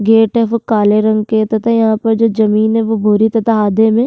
Gate है वो काले रंग के है तथा यहाँ पर जो जमीन है वो भूरे तथा आधे में।